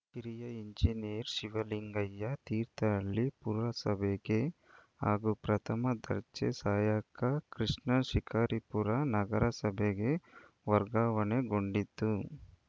ಕಿರಿಯ ಎಂಜಿನಿಯರ್‌ ಶಿವಲಿಂಗಯ್ಯ ತೀರ್ಥಹಳ್ಳಿ ಪುರಸಭೆಗೆ ಹಾಗೂ ಪ್ರಥಮ ದರ್ಜೆ ಸಹಾಯಕ ಕೃಷ್ಣ ಶಿಕಾರಿಪುರ ನಗರಸಭೆಗೆ ವರ್ಗಾವಣೆಗೊಂಡಿದ್ದು